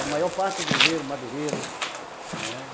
É, a maior parte é grileiro, madeireiro. É...